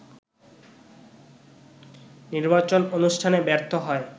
নির্বাচন অনুষ্ঠানে ব্যর্থ হয়